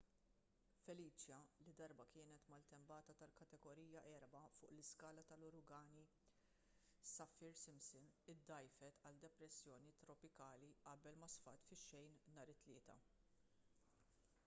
felicia li darba kienet maltempata tal-kategorija 4 fuq l-iskala tal-uragani saffir-simpson iddgħajfet għal depressjoni tropikali qabel ma sfat fix-xejn nhar it-tlieta